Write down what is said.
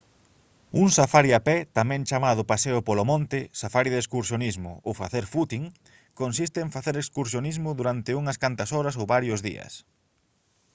un safari a pé tamén chamado «paseo polo monte» «safari de excursionismo» ou facer «footing» consiste en facer excursionismo durante unhas cantas horas ou varios días